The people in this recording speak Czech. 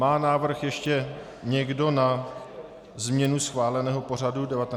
Má návrh ještě někdo na změnu schváleného pořadu 19. schůze?